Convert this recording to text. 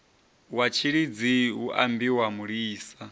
wa tshilidzi hu ambiwa mulisa